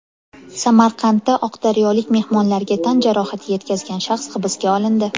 Samarqandda oqdaryolik mehmonlarga tan jarohati yetkazgan shaxs hibsga olindi.